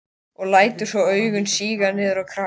Og lætur svo augun síga niður á kragann.